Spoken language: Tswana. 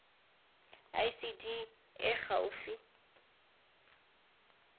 icd e e gaufi le